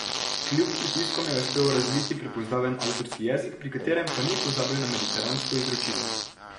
Kljub pritiskom je uspel razviti prepoznaven avtorski jezik, pri katerem pa ni pozabil na mediteransko izročilo.